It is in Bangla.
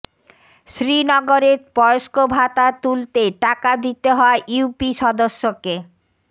শ্রীনগরে বয়স্ক ভাতা তুলতে টাকা দিতে হয় ইউপি সদস্যকে